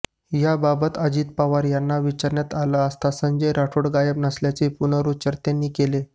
याबाबत अजित पवार यांना विचारण्यात आलं असता संजय राठोड गायब नसल्याचा पुनरुच्चार त्यांनी केला